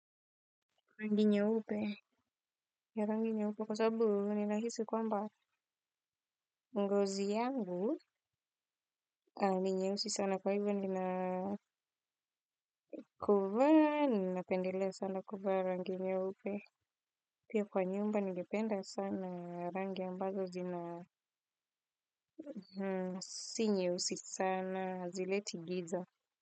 Rangi nyeupe, ya rangi nyeupe kwa sababu ninahisi kwamba ngozi yangu ni nyeusi sana kwa hivyo nina, kuvaa ninapendelea sana kuvaa rangi nyeupe. Pia kwa nyumba ningependa sana rangi ambazo zina si nyeusi sana, hazileti giza.